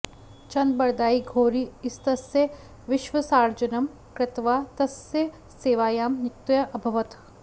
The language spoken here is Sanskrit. चन्दबरदायी घोरी इत्यस्य विश्वासार्जनं कृत्वा तस्य सेवायां नियुक्तः अभवत्